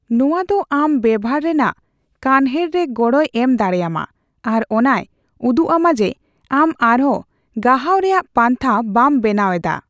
ᱱᱚᱣᱟ ᱫᱚ ᱟᱢ ᱵᱮᱵᱷᱟᱨ ᱨᱮᱱᱟᱜ ᱠᱟᱱᱦᱮᱲ ᱨᱮ ᱜᱚᱲᱚᱭ ᱮᱢ ᱫᱟᱲᱮᱹᱭᱟᱢᱟ ᱟᱨ ᱚᱱᱟᱭ ᱩᱫᱩᱜ ᱟᱢᱟ ᱡᱮᱹ ᱟᱢ ᱟᱨᱦᱚᱸ ᱜᱟᱦᱟᱣ ᱨᱮᱭᱟᱜ ᱯᱟᱱᱛᱷᱟ ᱵᱟᱢ ᱵᱮᱱᱟᱣ ᱮᱫᱟ ᱾